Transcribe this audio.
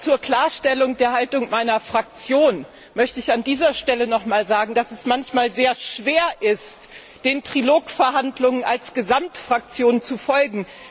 Zur Klarstellung der Haltung meiner Fraktion möchte ich an dieser Stelle nochmals sagen, dass es manchmal sehr schwer ist, den Trilogverhandlungen als Gesamtfraktion zu folgen.